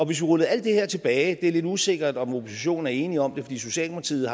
vi rullede alt det her tilbage det er lidt usikkert om oppositionen er enige om det fordi socialdemokratiet